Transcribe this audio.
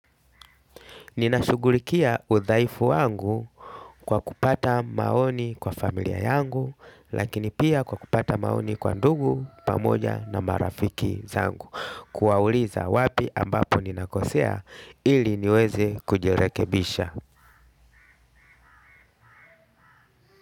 Ninashugulikia udhaifu wangu kwa kupata maoni kwa familia yangu, lakini pia kwa kupata maoni kwa ndugu pamoja na marafiki zangu. Kuwauliza wapi ambapo ninakosea ili niweze kujirekebisha.